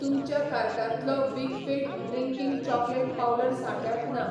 तुमच्या कार्टांतलो Weikfield drinking chocolate powder सांठ्यांत ना